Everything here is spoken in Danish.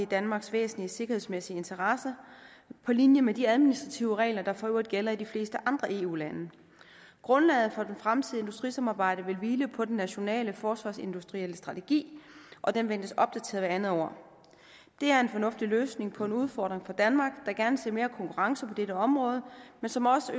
danmarks væsentlige sikkerhedsmæssige interesse på linje med de administrative regler der for øvrigt gælder i de fleste andre eu lande grundlaget for det fremtidige industrisamarbejde vil hvile på den nationale forsvarsindustrielle strategi og den ventes opdateret hvert andet år det er en fornuftig løsning på en udfordring for danmark der gerne ser mere konkurrence på dette område men som også